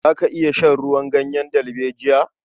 Za ka iya shan ruwan ganyen dalbejiya?